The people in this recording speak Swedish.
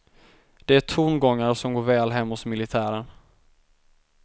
Det är tongångar som går väl hem hos militären.